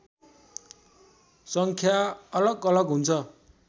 सङ्ख्या अलगअलग हुन्छ